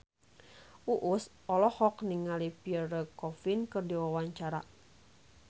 Uus olohok ningali Pierre Coffin keur diwawancara